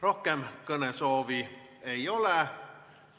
Rohkem kõnesoove ei ole.